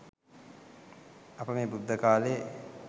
අප මේ බුද්ධ කාලයේ